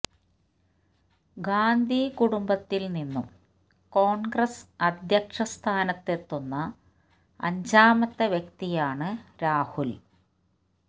ഗാന്ധി കുടുംബത്തില് നിന്നും കോണ്ഗ്രസ് അധ്യക്ഷ സ്ഥാനത്തെത്തുന്ന അഞ്ചാമത്തെ വ്യക്തിയാണ് രാഹുല്